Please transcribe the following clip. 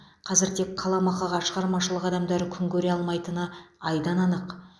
қазір тек қаламақыға шығармашылық адамдары күн көре алмайтыны айдан анық